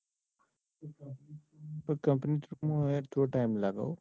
Company through માં યાર થોડો time લાગે હો.